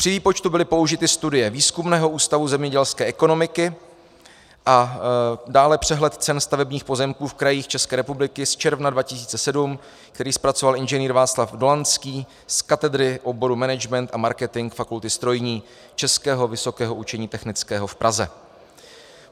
Při výpočtu byly použity studie Výzkumného ústavu zemědělské ekonomiky a dále přehled cen stavebních pozemků v krajích České republiky z června 2007, který zpracoval inženýr Václav Dolanský z katedry oboru management a marketing Fakulty strojní Českého vysokého učení technického v Praze.